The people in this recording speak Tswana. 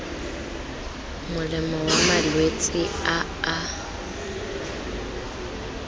molemo wa malwetse a a